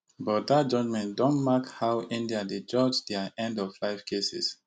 but dat judgement don mark how india dey judge dia end of life cases